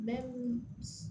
Mɛ